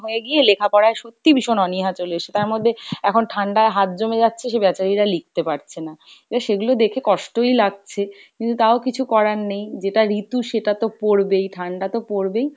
হয়ে গিয়ে লেখাপড়াই সত্যি ভীষণ অনীহা চলে এসছে। তার মধ্যে এখন ঠান্ডায় হাত জমে যাচ্ছে সে বেচারীরা লিখতে পারছে না, এবার সেগুলো দেখে কষ্টই লাগছে কিন্তু তাও কিছু করার নেই, যেটা ঋতু সেটা তো পরবেই ঠাণ্ডা তো পরবেই,